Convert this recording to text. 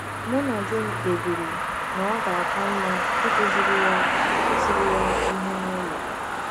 Mụ na di m kpebiri na ọ ga - aka mma ịkụziri ya ịkụziri ya ihe n’ụlọ.